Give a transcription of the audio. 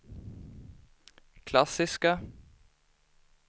klassiska